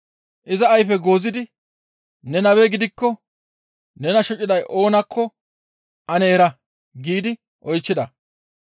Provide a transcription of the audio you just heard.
Iza ayfe goozidi, «Ne nabe gidikko nena shociday oonakko ane era!» giidi oychchida.